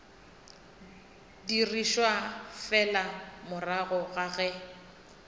dirišwa fela morago ga ge